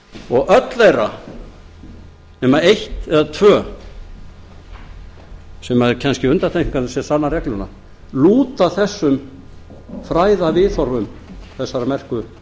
og öll þeirra nema eitt eða tvö sem eru kannski undantekningar sem sanna regluna lúta að þessum fræðaviðhorfum þessara merku